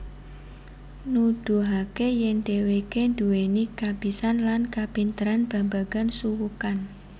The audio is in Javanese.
Nuduhake yen dheweke duweni kabisan lan kapinteran babagan suwukan